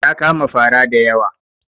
Ta kama fara da yawa.